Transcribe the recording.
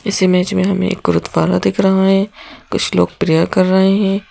इस इमेज में हमें एक गुरुद्वारा दिख रहा है कुछ लोग प्रेयर कर रहे है।